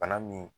Bana min